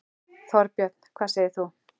Þorbjörn: Hvað segir þú?